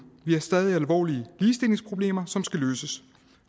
vi har stadig alvorlige ligestillingsproblemer som skal løses